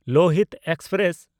Lohit express